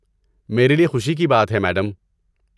میرے لیے خوشی کی بات ہے، میڈم